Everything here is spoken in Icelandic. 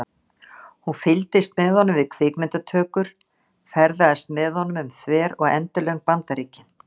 Hún fylgist með honum við kvikmyndatökur, ferðast með honum um þver og endilöng Bandaríkin.